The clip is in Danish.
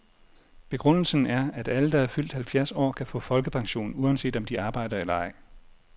Begrundelsen er, at alle, der er fyldt halvfjerds år, kan få folkepension, uanset om de arbejder eller ej.